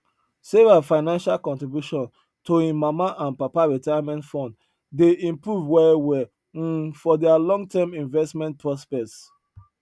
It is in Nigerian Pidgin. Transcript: sarah financial contribution to im mama and papa retirement fund dey improve well well um for their longterm investment prospects